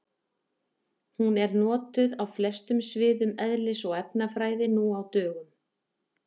Hún er notuð á flestum sviðum eðlis- og efnafræði nú á dögum.